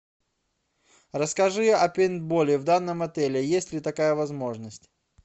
расскажи о пейнтболе в данном отеле есть ли такая возможность